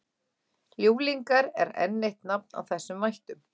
ljúflingar er enn eitt nafn á þessum vættum